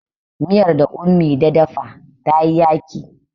miyar da ummi da dafa ta yi yaki